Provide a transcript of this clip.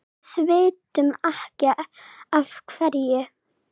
Við vitum ekki af hverju.